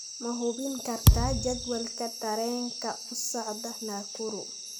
ma hubin kartaa jadwalka tareenka u socda nakuru